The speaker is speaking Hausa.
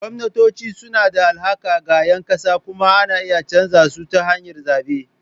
Gwamnatoci suna da alhaki ga ƴan ƙasa kuma ana iya canza su ta hanyar zaɓe.